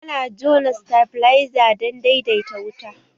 Ana jona sitabiliza dan daidaita wuta